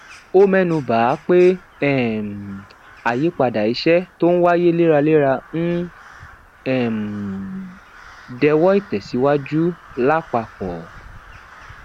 ó ménu bà á pé um àyípadà iṣé tó n wáyé léraléra ń um dẹwó ìtèsíwájú lápapò